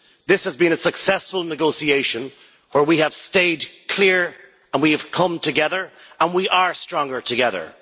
This has been a successful negotiation where we have stayed clear and we have come together, and we are stronger together.